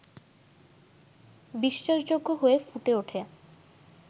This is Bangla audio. বিশ্বাসযোগ্য হয়ে ফুটে ওঠে